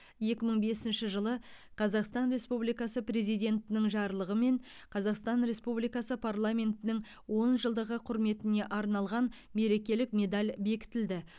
екі мың бесінші жылы қазақстан республикасы президентінің жарлығымен қазақстан республикасы парламентінің он жылдығы құрметіне арналған мерекелік медаль бекітілді